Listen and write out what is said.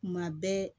Kuma bɛɛ